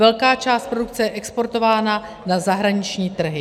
Velká část produkce je exportována na zahraniční trhy.